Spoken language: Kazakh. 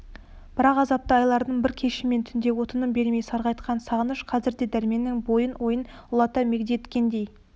бірақ азапты айлардың бар кеші мен түнінде тыным бермей сарғайтқан сағыныш қазір де дәрменнің бойын ойын улата мегдеткендей